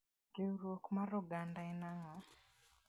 Riwruok mar oganda en ang'o?